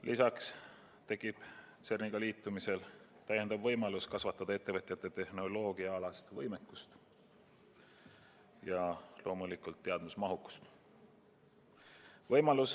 Lisaks tekib CERN-iga liitumisel täiendav võimalus kasvatada ettevõtjate tehnoloogiaalast võimekust ja loomulikult teadmismahukust.